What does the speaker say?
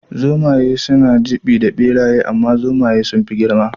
Zomaye suna ɗibi da ɓeraye amma Zomaye sunfi girma